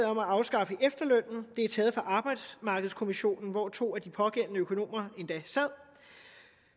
om at afskaffe efterlønnen det er taget fra arbejdsmarkedskommissionen hvor to af de pågældende økonomer endda sad